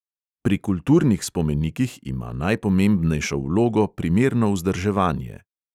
Pri kulturnih spomenikih ima najpomembnejšo vlogo primerno vzdrževanje.